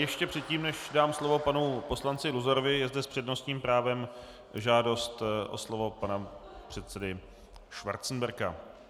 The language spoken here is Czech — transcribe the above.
Ještě předtím, než dám slovo panu poslanci Luzarovi, je zde s přednostním právem žádost o slovo pana předsedy Schwarzenberga.